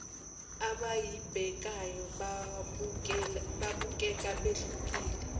abayibhekayo babukeka behlukile